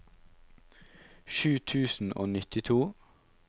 sju tusen og nittito